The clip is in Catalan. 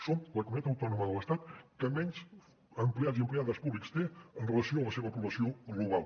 som la comunitat autònoma de l’estat que menys empleats i empleades públics té en relació amb la seva població global